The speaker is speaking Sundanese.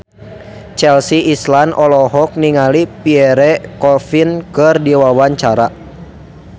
Chelsea Islan olohok ningali Pierre Coffin keur diwawancara